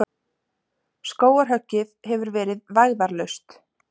Skógarhöggið hefur verið vægðarlaust.